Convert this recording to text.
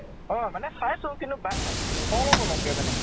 অ মানে চাইছো কিন্তু বা অলপ অলপ কে মানে